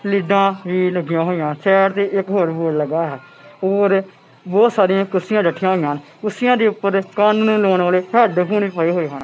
ਲੀਡਾ ਵੀ ਲੱਗੀਆਂ ਹੋਈਆਂ ਹਨ ਸਾਈਡ ਤੇ ਇੱਕ ਬੋਰਡ ਵੀ ਲੱਗਾ ਹੋਇਆ ਹੈ ਹੋਰ ਬਹੁਤ ਸਾਰਿਆ ਕੁਰਸੀਆਂ ਲੱਗੀਆਂ ਹੋਈਆਂ ਹਨ ਤੇ ਕੁਰਸੀਆਂ ਦੇ ਉੱਪਰ ਕੰਨਾਂ ਨੂੰ ਲਾਉਣ ਵਾਲੇ ਹੈਡਫੋਨ ਵੀ ਪਏ ਹੋਏ ਹਨ।